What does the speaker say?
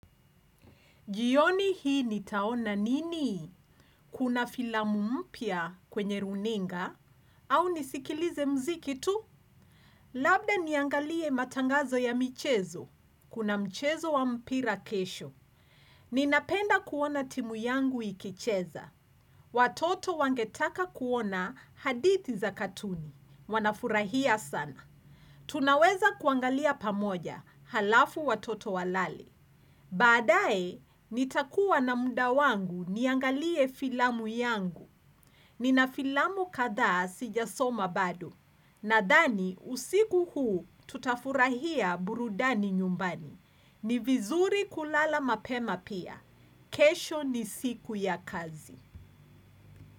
Jioni hii nitaona nini? Kuna filamu mpya kwenye runinga? Au nisikilize mziki tu? Labda niangalie matangazo ya michezo. Kuna mchezo wa mpira kesho. Ninapenda kuona timu yangu ikicheza. Watoto wangetaka kuona hadithi za katuni. Wanafurahia sana. Tunaweza kuangalia pamoja. Halafu watoto walale. Baadae, nitakuwa na muda wangu niangalie filamu yangu. Nina filamu kadhaa sijasoma bado. Nadhani, usiku huu tutafurahia burudani nyumbani. Ni vizuri kulala mapema pia. Kesho ni siku ya kazi.